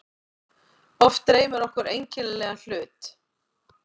Oft dreymir okkur einkennilega hlut.